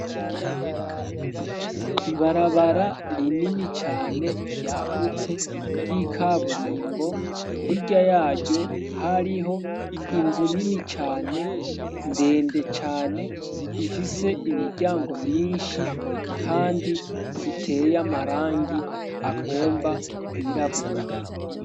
ibarabara rinini cane ryagutse ry'ikaburimbo hirya yaryo hariho inzu nini cane ndende cane ifise imiryango myinshi kandi iteye amarangi agomba kwirabura